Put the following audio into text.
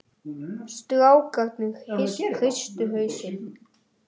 Annaðhvort var þá að lesa uppi í koju eða í kennslustofu.